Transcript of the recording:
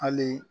Hali